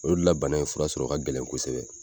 O de la bana in fura sɔrɔ ka gɛlɛn kosɛbɛ.